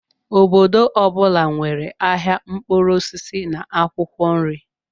Obodo ọ bụla nwere ahịa mkpụrụ osisi na akwụkwọ nri.